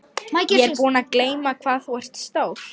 Ég var búin að gleyma hvað þú ert stór.